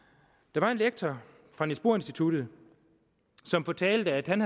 der var en lektor fra niels bohr instituttet som fortalte at han